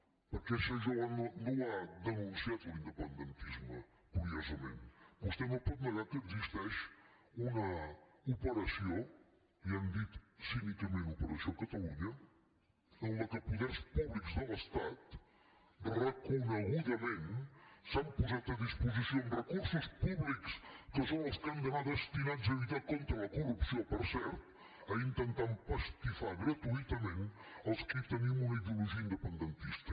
perquè això no ho ha denunciat l’independentisme curiosament vostè no pot negar que existeix una operació li han dit cínicament operació catalunya en què poders públics de l’estat reconegudament s’han posat a disposició amb recursos públics que són els que han d’anar destinats a lluitar contra la corrupció per cert a intentar empastifar gratuïtament els qui tenim una ideologia independentista